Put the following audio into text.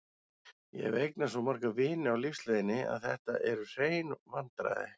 Ég hef eignast svo marga vini á lífsleiðinni að þetta eru hrein vandræði.